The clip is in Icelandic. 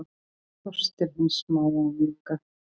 Kostir hins smáa og mjúka